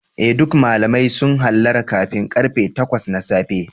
Eh duk malamai sun hallara kafin karfe takwas na safe.